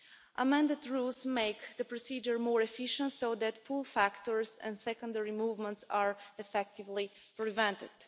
The amended rules make the procedure more efficient so that pull factors and secondary movements are effectively prevented.